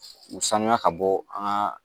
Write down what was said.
U sanuya ka bɔ an ka